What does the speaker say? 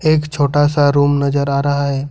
एक छोटा सा रूम नजर आ रहा है।